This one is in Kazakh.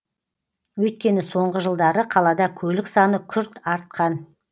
өйткені соңғы жылдары қалада көлік саны күрт артқан